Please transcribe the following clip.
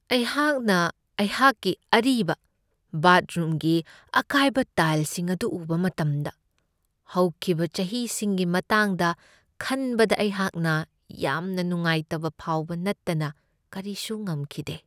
ꯑꯩꯍꯥꯛꯅ ꯑꯩꯍꯥꯛꯀꯤ ꯑꯔꯤꯕ ꯕꯥꯠꯔꯨꯝꯒꯤ ꯑꯀꯥꯏꯕ ꯇꯥꯏꯜꯁꯤꯡ ꯑꯗꯨ ꯎꯕ ꯃꯇꯝꯗ ꯍꯧꯈꯤꯕ ꯆꯍꯤꯁꯤꯡꯒꯤ ꯃꯇꯥꯡꯗ ꯈꯟꯕꯗ ꯑꯩꯍꯥꯛꯅ ꯌꯥꯝꯅ ꯅꯨꯡꯉꯥꯏꯇꯕ ꯐꯥꯎꯕ ꯅꯠꯇꯅ ꯀꯔꯤꯁꯨ ꯉꯝꯈꯤꯗꯦ ꯫